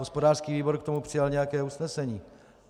Hospodářský výbor k tomu přijal nějaké usnesení.